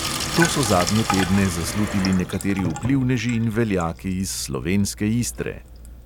To so zadnje tedne zaslutili nekateri vplivneži in veljaki iz slovenske istre.